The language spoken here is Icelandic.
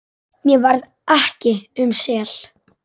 Mér varð ekki um sel.